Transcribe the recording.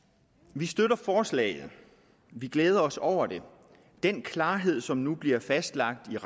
vi støtter forslaget vi glæder os over det den klarhed i rammerne som nu bliver fastlagt